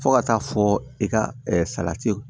Fo ka taa fɔ i ka salati